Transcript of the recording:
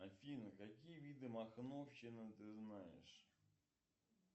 афина какие виды махновщины ты знаешь